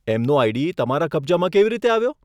એમનો આઈડી તમારા કબજામાં કેવી રીતે આવ્યો?